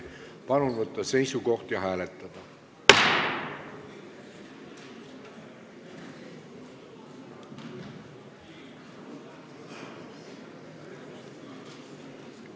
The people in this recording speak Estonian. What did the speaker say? Palun võtta seisukoht ja hääletada!